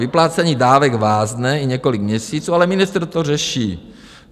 Vyplácení dávek vázne i několik měsíců, ale ministr to řeší.